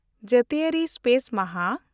ᱡᱟᱹᱛᱤᱭᱟᱹᱨᱤ ᱥᱯᱮᱥ ᱢᱟᱦᱟ